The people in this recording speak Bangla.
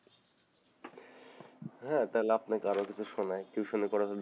হ্যাঁ তাহলে আপনাকে আরো কিছু শোনাই টিউশন ই করে যদি,